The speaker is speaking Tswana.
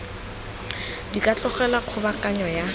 di ka tlogelwa kgobokanyo ya